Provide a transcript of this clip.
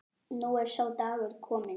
Nú er sá dagur kominn.